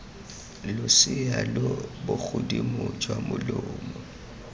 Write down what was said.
losea lo bogodimo jwa molomo